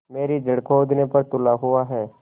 मेरी जड़ खोदने पर तुला हुआ है